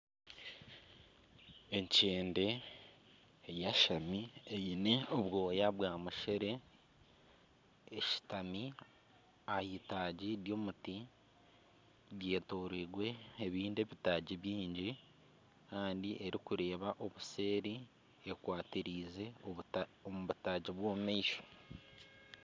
Enkyende eyashami eine obwoya bwamushere eshutami aheitagi ry'omuti ryetoreirwe ebindi ebitaagi byingi kandi erikureeba obuseeri ekwatireize omu butaagi bw'omumaisho